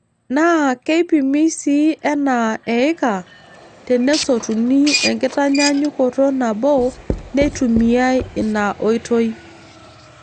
Naa keipimi sii enaa eika tenesotuni enkitanyaanyukoto nabo neitumiyai inaoitoi.